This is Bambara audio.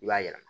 I b'a yɛlɛma